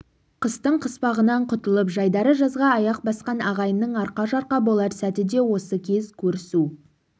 қыстың қыспағынан құтылып жайдары жазға аяқ басқан ағайынның арқа-жарқа болар сәті де осы кез көрісу